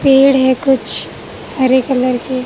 पेड़ है कुछ हरे कलर के--